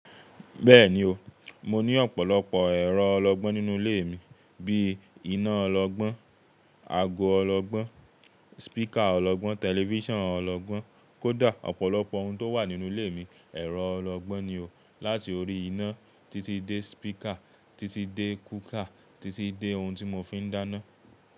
Bẹ́ẹ̀ni o, mo ní ọ̀pọ̀lọpọ̀ ẹ̀rọ ọlọgbọ́n nínú ilé mi. Bíi iná ọlọgbọ́n, ago ọlọgbọ́n, speaker ọlọgbọ́n, television ọlọgbọ́n, kódà ọ̀pọ̀lọpọ̀ ohun tó wà nínú ilé mi. Ẹ̀rọ ọlọgbọ́n ni o. Láti orí iná títí dé speaker, títí dé cooker, títí dé ohun tí mo fi ń dáná.